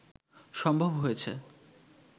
সম্ভব হয়েছে